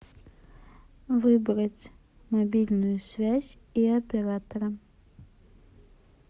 выбрать мобильную связь и оператора